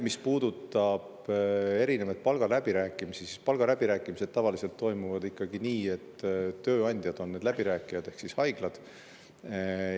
Mis puudutab erinevaid palgaläbirääkimisi, siis palgaläbirääkimised tavaliselt toimuvad ikkagi nii, et tööandjad ehk haiglad on läbirääkijad.